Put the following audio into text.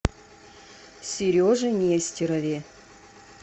сереже нестерове